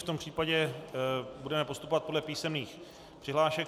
V tom případě budeme postupovat podle písemných přihlášek.